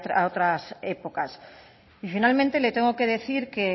a otras épocas y finalmente le tengo que decir que